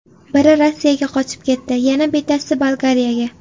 Biri Rossiyaga qochib ketdi, yana bittasi Bolgariyaga.